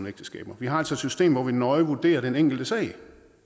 ægteskaber vi har altså et system hvor vi nøje vurderer den enkelte sag